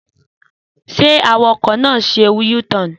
Sẹ àwàkọ nà sẹ ú– tọn